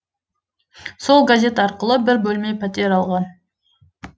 сол газет арқылы бір бөлме пәтер алған